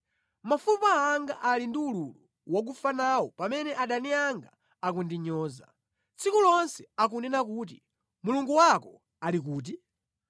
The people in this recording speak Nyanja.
Mafupa anga ali ndi ululu wakufa nawo pamene adani anga akundinyoza, tsiku lonse akunena kuti, “Mulungu wako ali kuti?”